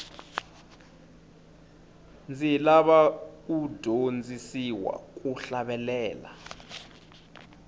ndzi lava ku dyondzisiwa ku hlavelela